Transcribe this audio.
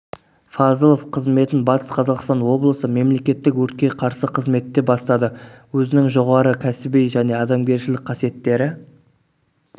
фазылов қызметін батыс қазақстан облысы мемлекеттік өртке қарсы қызметте бастады өзінің жоғары кәсіби және адамгершілік қасиеттері